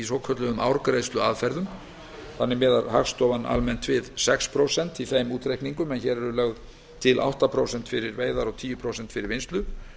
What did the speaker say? svokölluðum árgreiðsluaðferðum þannig miðar hagstofan almennt við sex prósent í þeim útreikningum en hér eru lögð til átta prósent fyrir veiðar og tíu prósent fyrir vinnslu